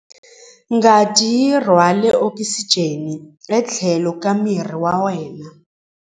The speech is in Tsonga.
Ngati yi rhwala okisijeni etlhelo ka miri wa wena.